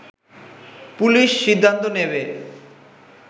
police সিদ্ধান্ত নেবে